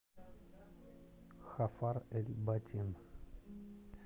хафар эль батин